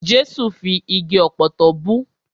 Jẹ́sù fi igi ọ̀pọ̀tọ́ bú.